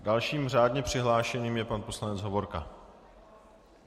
Dalším řádně přihlášeným je pan poslanec Hovorka.